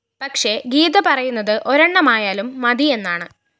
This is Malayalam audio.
പക്ഷേ ഗീത പറയുന്നതു ഒരെണ്ണമായാലും മതി എന്നാണ്